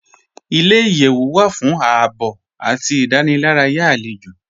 Ilẹ̀-iyẹ̀wù wà fún ààbọ̀ àti ìdánìlàràyà alẹ́jọ́